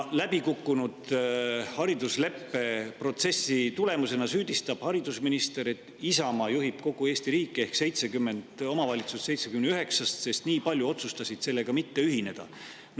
Läbikukkunud haridusleppeprotsessi tõttu süüdistab haridusminister, et Isamaa juhib kogu Eesti riiki ehk 70 omavalitsust 79‑st, sest nii paljud otsustasid selle mitte ühineda.